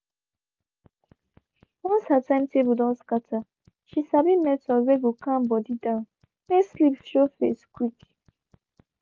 once her timetable don scatter she sabi method were go calm body down make sleep show face quick